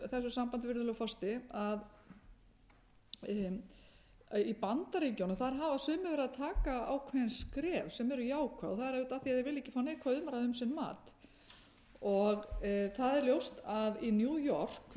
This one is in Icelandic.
þessu sambandi virðulegur forseti að í bandaríkjunum hafa sumir verið að taka ákveðin skref sem eru jákvæð það er auðvitað ef því þeir vilja ekki fá neikvæða umræðu um sinn mat það er ljóst að í new york